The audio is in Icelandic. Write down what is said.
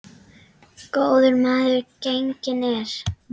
Góður maður genginn er.